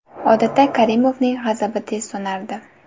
Odatda Karimovning g‘azabi tez so‘nardi.